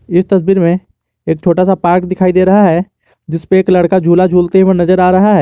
इस तस्वीर में एक छोटा सा पार्क दिखाई दे रहा है जिस पे एक लड़का झूला झूलते हुए नजर आ रहा है।